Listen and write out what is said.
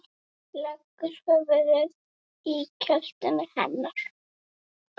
Leggur höfuðið í kjöltu hennar.